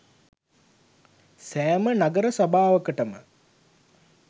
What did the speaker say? සෑම නගර සභාවකටම